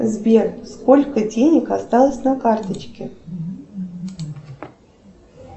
сбер сколько денег осталось на карточке